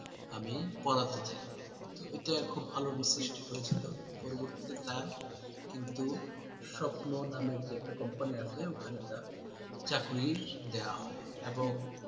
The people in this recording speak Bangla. আমি পড়াতে চাই, তো এটা খুব ভাল আলোড়ন সৃষ্টি করেছিল। পরবর্তিতে তার কিন্তু স্বপ্ন নামের যে একটা company আছে ওখানে তার চাকরি দেয়া হয় এবং